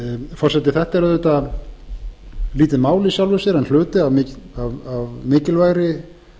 forseti þetta er auðvitað lítið mál í sjálfu sér en hluti af mikilvægri